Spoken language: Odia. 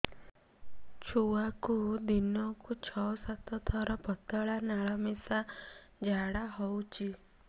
ଛୁଆକୁ ଦିନକୁ ଛଅ ସାତ ଥର ପତଳା ନାଳ ମିଶା ଝାଡ଼ା ହଉଚି